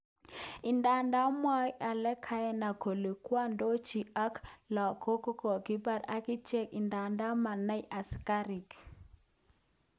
Idadan mwoe Al-qaeda kole kwondanyin ak lagok kokokibar akichek idadan manai asikarik.